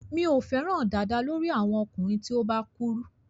Mi ò fẹ́ràn dàda lórí àwọn ọkùnrin tí ó bá kúrú.